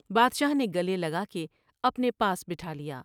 بادشاہ نے گلے لگا کے اپنے پاس بٹھالیا ۔